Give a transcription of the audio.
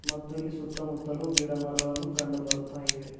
ಮತ್ತು ಇಲ್ಲಿ ಸುತ್ತಮುತ್ತಲು ಗಿಡ ಮರಗಳನ್ನು ಕಂಡು ಬರುತ್ತಾ ಇವೆ.